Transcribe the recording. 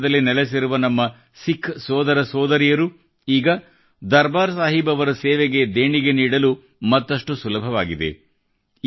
ವಿದೇಶದಲ್ಲಿ ನೆಲೆಸಿರುವ ನಮ್ಮ ಸಿಖ್ ಸೋದರ ಸೋದರಿಯರು ಈಗ ದರ್ಬಾರ್ ಸಾಹೀಬ್ ಅವರ ಸೇವೆಗೆ ದೇಣಿಗೆ ನೀಡಲು ಈಗ ಮತ್ತಷ್ಟು ಸುಲಭವಾಗಿದೆ